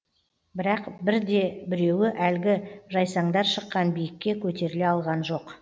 бірақ бірде біреуі әлгі жайсаңдар шыққан биікке көтеріле алған жоқ